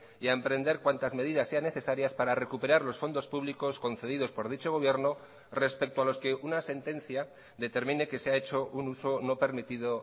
y a emprender cuantas medidas sean necesarias para recuperar los fondos públicos concedidos por dicho gobierno respecto a los que una sentencia determine que se ha hecho un uso no permitido